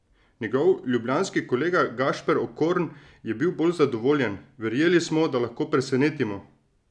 Njegov ljubljanski kolega Gašper Okorn je bil bolj zadovoljen: 'Verjeli smo, da lahko presenetimo.